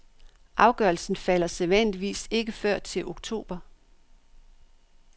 Afgørelsen falder sædvanligvis ikke før til oktober.